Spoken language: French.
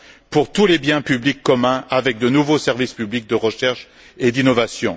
pour tous les biens publics communs avec de nouveaux services publics de recherche et d'innovation.